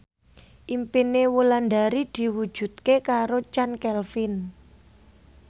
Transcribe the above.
impine Wulandari diwujudke karo Chand Kelvin